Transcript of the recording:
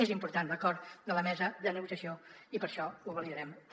és important l’acord de la mesa de negociació i per això ho validarem també